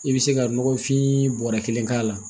I bɛ se ka nɔgɔfin bɔrɔ kelen k'a la